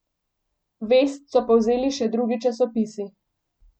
Vest so povzeli še drugi časopisi.